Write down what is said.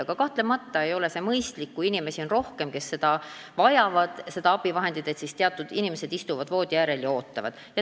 Aga kahtlemata ei ole see mõistlik, et kui on rohkem inimesi, kes seda abivahendit vajavad, siis mõned nendest istuvad voodiäärel ja ootavad.